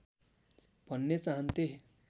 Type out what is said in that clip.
भन्ने चाहन्थे